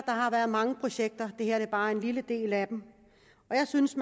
har været mange projekter det her er bare en lille del af dem jeg synes